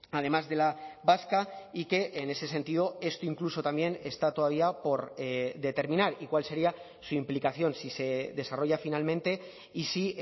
además de la vasca y que en ese sentido esto incluso también está todavía por determinar y cuál sería su implicación si se desarrolla finalmente y si